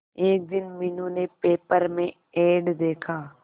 एक दिन मीनू ने पेपर में एड देखा